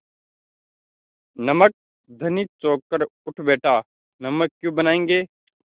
नमक धनी चौंक कर उठ बैठा नमक क्यों बनायेंगे